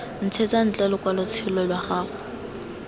ntshetsa ntle lokwalotshelo lwa gago